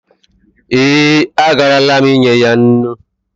Ee, agarala m inye ya nnu.